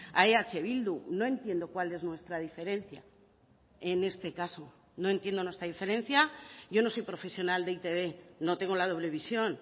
a eh bildu no entiendo cuál es nuestra diferencia en este caso no entiendo nuestra diferencia yo no soy profesional de e i te be no tengo la doble visión